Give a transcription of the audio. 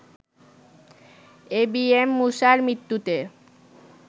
ABM মূসার মৃত্যুতে